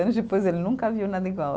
Anos depois, ele nunca viu nada igual.